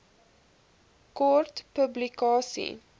kort publikasie